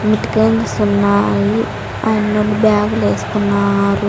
ఉన్నాయి ఆయన్నోల్లు బ్యాగ్ లు ఏస్కున్నారు.